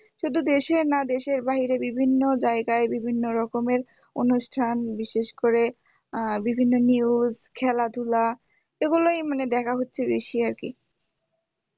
শুধু দেশের না দেশের বাইরে বিভিন্ন জায়গায় বিভিন্ন রকমের অনুষ্ঠান বিশেষ করে আহ বিভিন্ন news খেলাধুলা এগুলোই মানে দেখা হচ্ছে বেশি আরকি